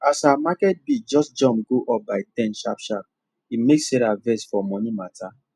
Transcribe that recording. as her market bill just jump go up by ten sharpsharp e make sarah vex for money matter